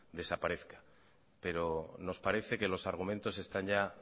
desaparezca pero nos parece que los argumentos están ya